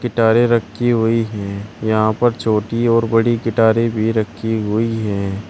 गिटारें रखी हुई हैं। यहां पर छोटी और बड़ी गिटारें भी रखी हुई हैं।